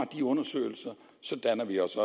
de undersøgelser danner vi os